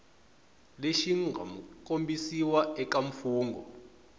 lexi mga kombisiwa eka mfungho